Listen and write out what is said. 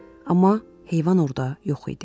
Amma heyvan orada yox idi.